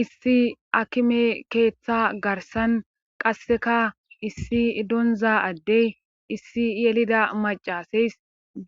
Issi akime keeththa garsan qasseka issi donza addey issi yelida macaseys